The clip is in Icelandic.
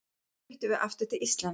Þá fluttum við aftur til Íslands.